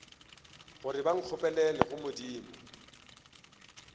gore ba nkgopelele go modimo